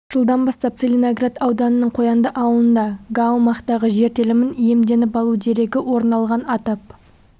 жылдан бастап целиноград ауданының қоянды ауылында га аумақтағы жер телімін иемденіп алу дерегі орын алған атап